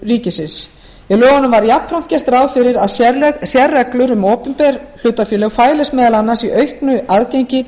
ríkisins með lögunum var jafnframt gert ráð fyrir að sérreglur um opinber hlutafélög fælust meðal annars í auknu aðgengi